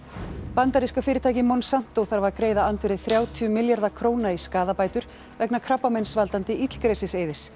bandaríska fyrirtækið Monsanto þarf að greiða andvirði þrjátíu milljarða króna í skaðabætur vegna krabbameinsvaldandi illgresis